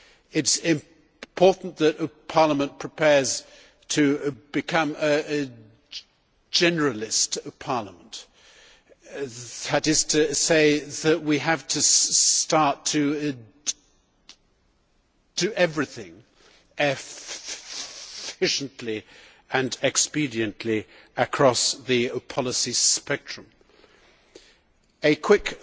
It is important that Parliament prepares to become a generalist parliament that is to say, that we have to start to do everything efficiently and expediently across the policy spectrum. A quick